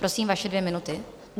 Prosím, vaše dvě minuty.